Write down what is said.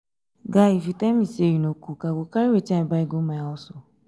guy if you tell me say you no cook i go carry wetin i buy go my house